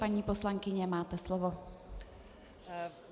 Paní poslankyně, máte slovo.